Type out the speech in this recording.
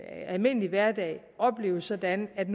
almindelige hverdag opleves sådan at